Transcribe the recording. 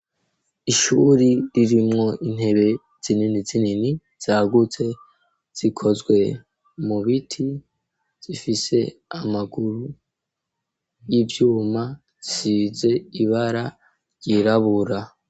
Ishuri ririmwo intebe zinini zinini, zagutse zikozwe mu biti, zifise amaguru y'ivyuma zisize ibara ryirabura.